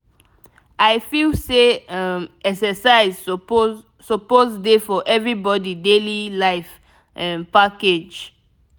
i feel say um exercise suppose suppose dey for everybody daily life um package.